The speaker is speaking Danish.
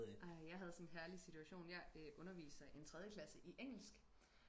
ej jeg havde sådan en herlig situation jeg øh underviser en tredjeklasse i engelsk